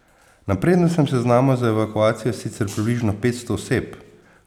Na prednostnem seznamu za evakuacijo je sicer približno petsto oseb.